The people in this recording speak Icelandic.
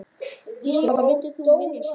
Gísli: Hvað myndir þú vilja sjá?